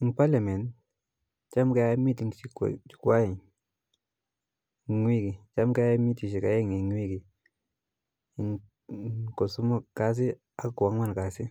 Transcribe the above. Eng parliament cham keae meeting chekwai eng wiki, cham keae mitishek aeng in wiki, kosomok kasi ak ko angwan kasi,